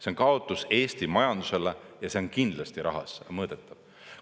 See on kaotus Eesti majandusele ja see on kindlasti rahas mõõdetav.